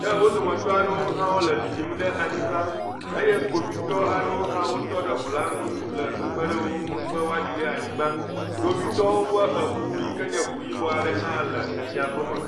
Ke wo dometɔ aɖewo le ɖiɖim ɖe anyigba eye kpovitɔ aɖewo hã wotɔ ɖe ŋu la ŋu le kpekep ɖe wo ŋu be woaɖi ɖe anyigba. Kpovitɔwo ƒe eŋu yike nye ŋu yibɔ aɖe hã le emia gome.